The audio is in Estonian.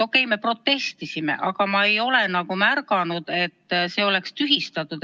Okei, me protestisime, aga ma ei ole märganud, et see oleks tühistatud.